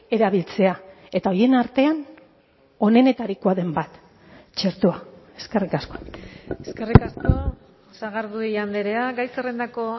erabiltzea eta horien artean onenetarikoa den bat txertoa eskerrik asko eskerrik asko sagardui andrea gai zerrendako